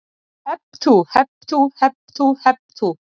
Hep tú, hep tú, hep tú, hep tú.